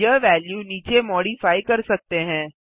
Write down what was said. यह वेल्यू नीचे मॉडिफाइ कर सकते हैं